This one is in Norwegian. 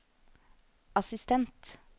assistent